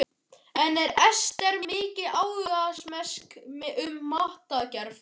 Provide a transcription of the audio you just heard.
En er Ester mikil áhugamanneskja um matargerð?